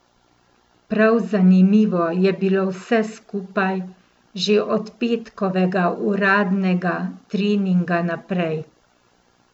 Prav zanimivo je bilo vse skupaj, že od petkovega uradnega treninga naprej.